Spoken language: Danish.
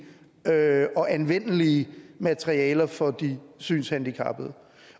og anvendelige materialer for de synshandicappede